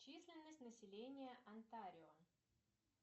численность населения онтарио